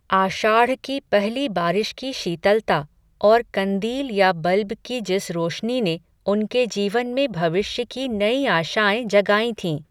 आषाढ़ की पहली बारिश की शीतलता, और कंदील या बल्ब की जिस रोशनी ने, उनके जीवन में भविष्य की नयी आशाएं जगाईं थीं